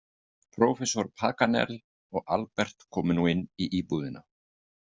Prófessor Paganel og Albert komu nú inn í íbúðina.